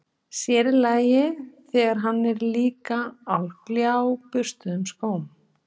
Sér í lagi, þegar hann er líka á gljáburstuðum skóm.